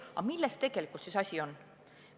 Aga milles tegelikult siis asi on?